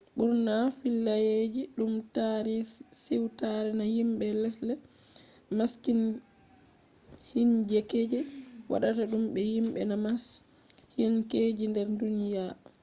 ɓurna fillayeeji ɗum tarii siwtare na yimbe lesde masiihinkeje waɗata ɗum be yimɓe na masiihinkeje nder duniyaa